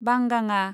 बांगाङा